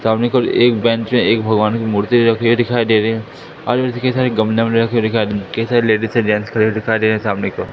सामने की ओर केवल एक बेंच है एक भगवान की मूर्ति रखी दिखाई दे रही है आजू-बाजू सारे गमले में रखे दिखाई कई सारे लेडिस और जेंट्स खड़े दिखाई दे सामने की ओर --